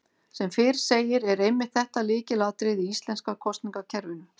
Sem fyrr segir er einmitt þetta lykilatriði í íslenska kosningakerfinu.